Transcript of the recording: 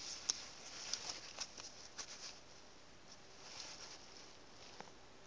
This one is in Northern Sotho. o a itshola ge e